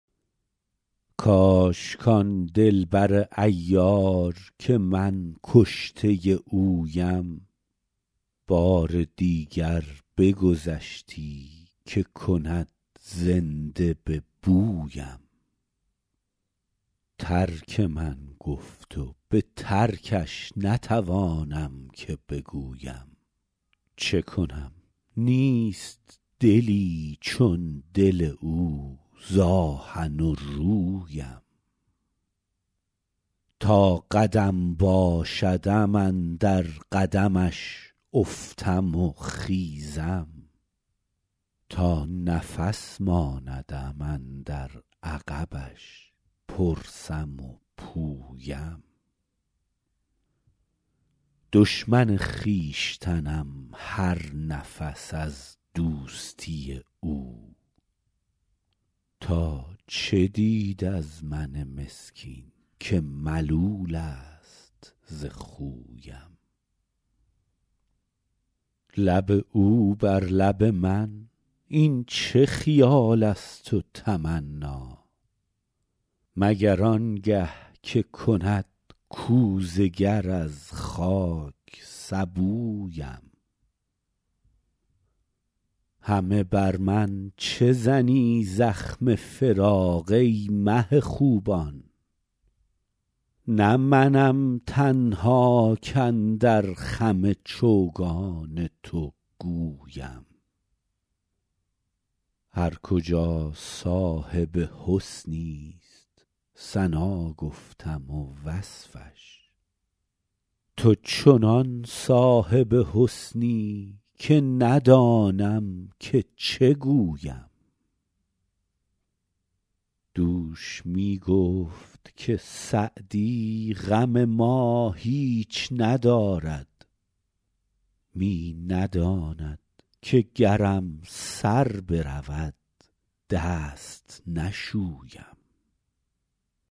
کاش کان دل بر عیار که من کشته اویم بار دیگر بگذشتی که کند زنده به بویم ترک من گفت و به ترکش نتوانم که بگویم چه کنم نیست دلی چون دل او ز آهن و رویم تا قدم باشدم اندر قدمش افتم و خیزم تا نفس ماندم اندر عقبش پرسم و پویم دشمن خویشتنم هر نفس از دوستی او تا چه دید از من مسکین که ملول است ز خویم لب او بر لب من این چه خیال است و تمنا مگر آن گه که کند کوزه گر از خاک سبویم همه بر من چه زنی زخم فراق ای مه خوبان نه منم تنها کاندر خم چوگان تو گویم هر کجا صاحب حسنی ست ثنا گفتم و وصفش تو چنان صاحب حسنی که ندانم که چه گویم دوش می گفت که سعدی غم ما هیچ ندارد می نداند که گرم سر برود دست نشویم